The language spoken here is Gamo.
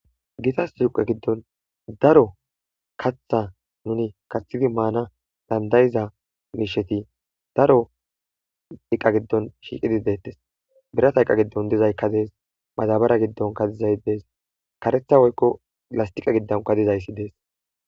Gitas duqe giddon daro kaththa nuni kaththidi maana dandayiza miisheti daro iqqa giddon shiiqidi deettes birat hyqa giddon dizaykka dees mazabara giddonka dizay dees karetha woykko lastiqa giddonka dizayssi dees